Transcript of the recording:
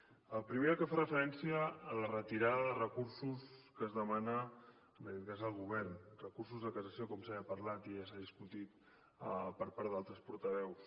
el primer és el que fa referència a la retirada de recursos que es demana des del govern recursos de cassació com ja s’ha parlat i ja s’ha discutit per part d’altres portaveus